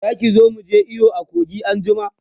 Zaki zo muje iyo a kogin anjima?